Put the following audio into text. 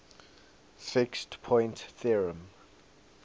fixed point theorem